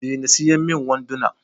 Dena siyan min wanduna!